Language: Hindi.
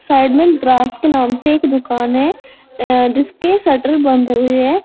साइड में द्रास के नाम से एक दुकान है जिसके शटर बंद हुए हैं।